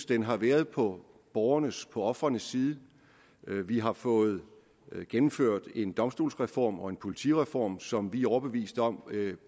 den har været på borgernes og på ofrenes side vi har fået gennemført en domstolsreform og en politireform som vi er overbeviste om